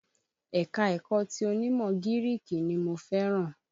Ẹ̀ka-ẹ̀kọ ti onímọ̀ gíríìkì ni mo fẹ́ràn.